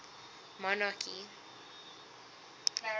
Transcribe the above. monarchy